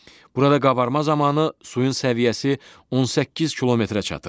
Burada qabarma zamanı suyun səviyyəsi 18 kilometrə çatır.